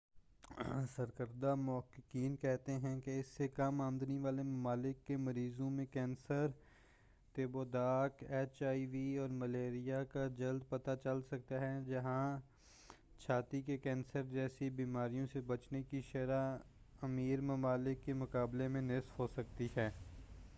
سرکردہ محققین کہتے ہیں کہ اس سے کم آمدنی والے ممالک کے مریضوں میں کینسر تپ و دق ایچ آئی وی اور ملیریا کا جلد پتہ چل سکتا ہے جہاں چھاتی کے کینسر جیسی بیماریوں سے بچنے کی شرح امیر ممالک کی مقابلے میں نصف ہو سکتی ہے